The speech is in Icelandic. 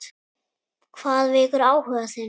Hvað vekur áhuga þinn?